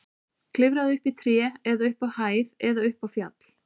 Klifraðu upp í tré eða upp á hæð eða upp á fjall.